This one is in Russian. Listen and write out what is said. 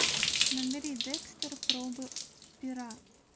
набери декстер пробы пера